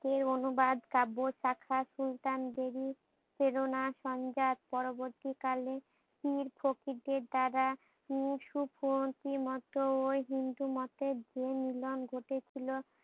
সেই অনুবাদ কাব্য শাখার সুলতানদেরি প্রেরণা সংজাত পরবর্তী কালে পীর ফকির দের দ্বারা উম সুফতি মতো ও হিন্দু মতো যে মিলন ঘটে ছিল।